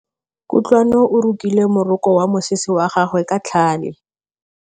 Kutlwanô o rokile morokô wa mosese wa gagwe ka tlhale.